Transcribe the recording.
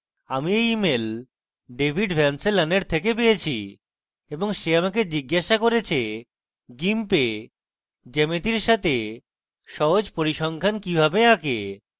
আমি এই email david ভ্যানসলনের থেকে পেয়েছি এবং সে আমাকে জিজ্ঞাসা করেছে gimp এ geometries সাথে সহজ পরিসংখ্যান কিভাবে আঁকে